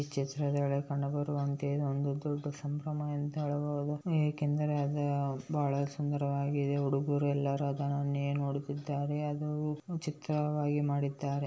ಈ ಚಿತ್ರದಲ್ಲಿ ಕಂಡು ಬರುವಂತೆ ಇದು ಒಂದು ದೊಡ್ಡ ಸಂಭ್ರಮ ಎಂದು ಹೇಳಬಹದು ಏಕೆಂದರೆ ಅದು ಉಹ್ ಬಹಳ ಸುಂದರವಾಗಿದೆ ಉಡುಗುರೆಲ್ಲರು ಅದನನ್ನೇ ನೋಡುತ್ತಿದ್ದಾರೆ ಅದು ಉಹ್ ಚಿತ್ರವಾಗಿ ಮಾಡಿದ್ದಾರೆ.